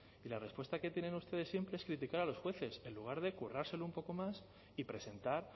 y la respuesta que tienen ustedes siempre es criticar a los jueces en lugar de currárselo un poco más y presentar